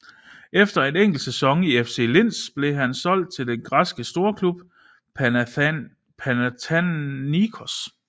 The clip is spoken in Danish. Efter en enkelt sæson i FC Linz blev han solgt til den græske storklub Panathinaikos